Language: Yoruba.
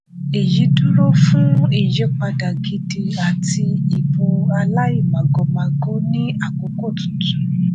èyí dúró fún ìyípadà gidi àti ìbò aláìmàgòmágó ní àkókò tuntun.